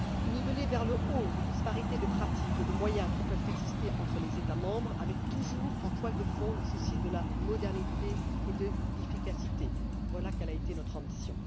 Niveler vers le haut les disparités de pratiques et de moyens qui peuvent exister entre les États membres avec, toujours, en toile de fond, le souci de la modernité et de l'efficacité voilà quelle a été notre ambition.